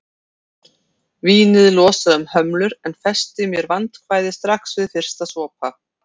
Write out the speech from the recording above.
Vínið losaði um hömlur en festi mér vandræði strax við fyrsta sopa.